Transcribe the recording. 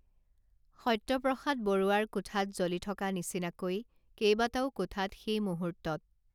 সত্যপ্ৰসাদ বৰুৱাৰ কোঠাত জ্বলি থকা নিচিনাকৈ কেইবাটাও কোঠাত সেইমূহূৰ্তত